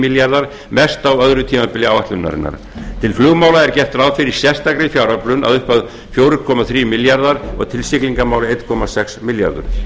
milljarðar mest á öðru tímabili áætlunarinnar til flugmála er gert ráð fyrir sérstakri fjáröflun að upphæð fjóra komma þrír milljarðar og til siglingamála einn komma sex milljarður